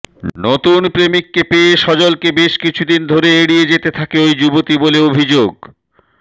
নতুন প্রেমিককে পেয়ে সজলকে বেশ কিছুদিন ধরে এড়িয়ে যেতে থাকে ওই যুবতী বলে অভিযোগ